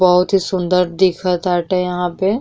बहुत ही सुन्दर दिख ताटे यहां पे --